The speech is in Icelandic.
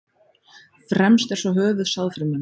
Fremst er svo höfuð sáðfrumunnar.